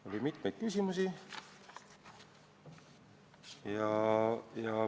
Oli mitmeid küsimusi.